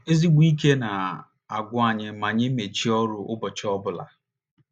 Ezigbo ike na - agwụ anyị ma anyị mechie ọrụ n’ụbọchị ọ bụla.